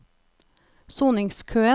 soningskøen